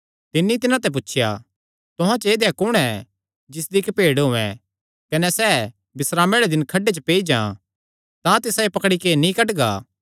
तिन्नी तिन्हां ते पुछया तुहां च ऐदेया कुण ऐ जिसदी इक्क ई भेड्ड होयैं कने सैह़ बिस्रामे आल़े दिन खड्डे च पेई जां तां तिसायो पकड़ी नैं नीं कड्डगा